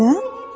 Nə?